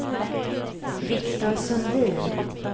Viktor Sundin